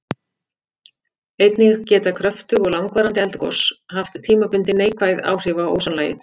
Einnig geta kröftug og langvarandi eldgos haft tímabundin neikvæð áhrif á ósonlagið.